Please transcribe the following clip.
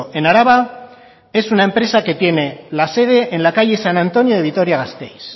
en araba es una empresa que tiene la sede en la calle san antonio de vitoria gasteiz